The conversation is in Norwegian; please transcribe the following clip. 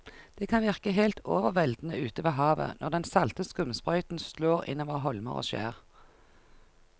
Det kan virke helt overveldende ute ved havet når den salte skumsprøyten slår innover holmer og skjær.